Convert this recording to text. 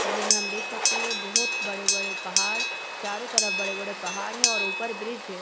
तस्वीर में देख सकते है बहुत बड़े-बड़े पहाड़ चारो तरफ बड़े-बड़े पहाड़ है और ऊपर ब्रिज है ।